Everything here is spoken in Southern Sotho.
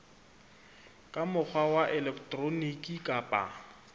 ka mokgwa wa elektroniki kapa